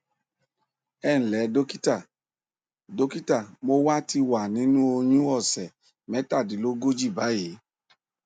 ẹ ǹlẹ dọkítà dọkítà mo wà ti wà nínú oyún òsẹ mẹtàdínlógójì báyìí